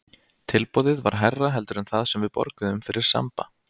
Tilboðið var hærra heldur en það sem við borguðum fyrir Samba.